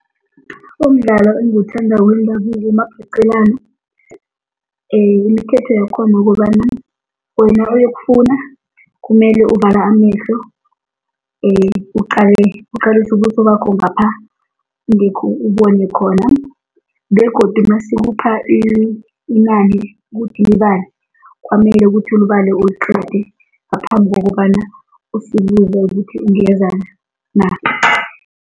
Umdlalo engiwuthandako wendabuko ngumabhaqelana, imithetho yakhona ukobana wena oyokufuna kumele uvale amehlo uqalise ubuso bakho ngapha ngekhe ubone khona, begodu nasikupha inani ukuthi libale, kwamele ukuthi ulibale uliqede ngaphambi kokobana ngithi ungeza na.